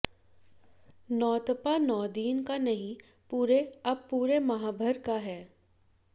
नौतपा नौदिन का नहीं पूरे अब पूरे माहभर का